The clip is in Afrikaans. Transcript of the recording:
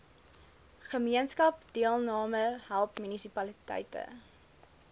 gemeenskapsdeelname help munisipaliteite